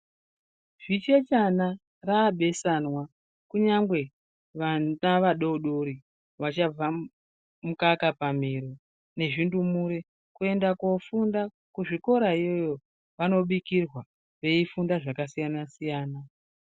Zvichechana raabesanwa kunyangwe vana vadodori vachabva mukaka pamiro nezvindumire kuenda koofunda kuzvikorayoyo vanobikirwa veifunda zvaka siyana siyana.